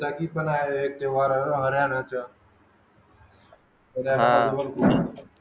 हां